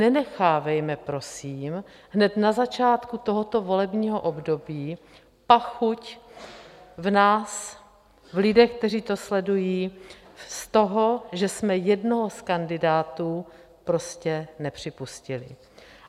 Nenechávejme prosím hned na začátku tohoto volebního období pachuť v nás, v lidech, kteří to sledují, z toho, že jsme jednoho z kandidátů prostě nepřipustili.